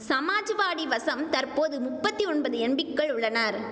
சமாஜ்வாடி வசம் தற்போது முப்பத்தி ஒன்பது எம்பிக்கள் உள்ளனர்